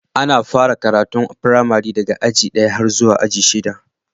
Ana fara karatu a firamari daga aji ɗaya har zuwa aji shida.